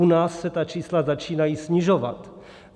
U nás se ta čísla začínají snižovat.